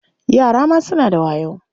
Yara ma suna da wayo.